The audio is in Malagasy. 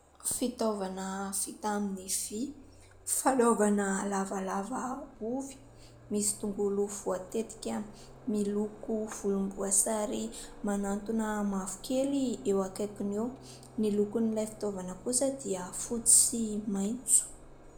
Fitaovana vita amin'ny vy, fanaovana lavalava ovy, misy tongolo voatetika miloko volomboasary manantona mavokely eo akaikiny eo, ny lokon'ilay fitaovana kosa dia fotsy sy maitso.